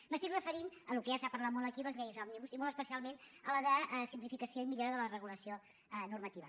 em refereixo al que ja s’ha parlat molt aquí les lleis òmnibus i molt especialment a la de simplificació i millora de la regulació normativa